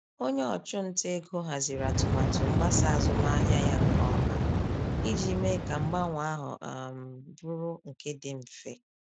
Onye ọchụnta ego haziri atụmatụ mgbasa azụmahịa ya nke ọma iji mee ka mgbanwe ahụ um bụrụ nke dị mfe.